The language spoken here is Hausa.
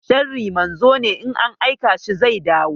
Sharri manzo ne, in an aika shi zai dawo.